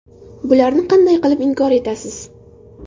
Bularni qanday qilib inkor etasiz?